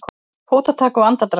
Fótatak og andardráttur.